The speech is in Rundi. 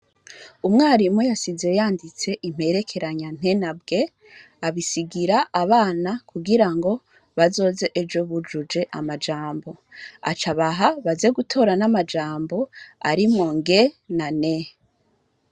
Umwarimu yasize yanditse imperekeranya "nt"na bw",abisigir'abana kugira ngo bazoz'ejo bujuje amajambo, acabaha baze gutor'amajambo arimwo "ng "na "n".